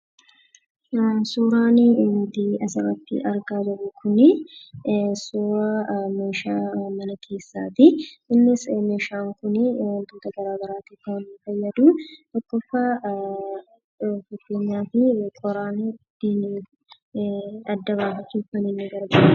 Suurrii asirratti arginu kun suura mana keessatti. Innis wantoota garagaraaf kan inni fayyadu. tokkoffaa fakkeenyaaf, qoraan adda baqasuuf kan na gargaarudha.